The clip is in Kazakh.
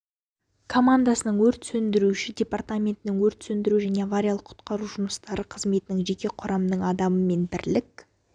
командасының өрт сөндіруші департаментінің өрт сөндіру және авариялық-құтқару жұмыстары қызметінің жеке құрамның адамы мен бірлік